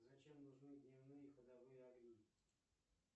зачем нужны дневные ходовые огни